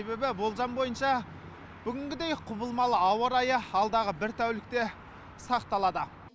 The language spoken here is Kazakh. себебі болжам бойынша бүгінгідей құбылмалы ауа райы алдағы бір тәулікте сақталады